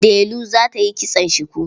Delu za ta yi kitson shuku.